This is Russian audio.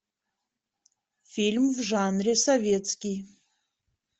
фильм в жанре советский